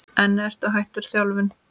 Ertu hættur þjálfun?